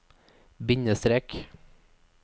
bindestrek